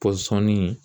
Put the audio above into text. Pɔsɔni